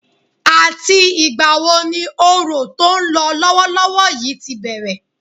Àti ìgbà wo ni Òrò tó ń lọ lọ́wọ́lọ́wọ́ yìí ti bẹ̀rẹ̀?